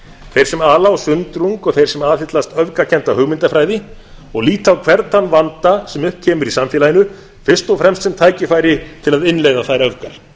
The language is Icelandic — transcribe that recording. þeir sem ala á sundrung og þeir sem aðhyllast öfgakennda hugmyndafræði og líta á hvern þann vanda sem upp kemur í samfélaginu fyrst og fremst sem tækifæri til að innleiða þær öfgar